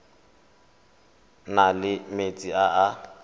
na le metsi a a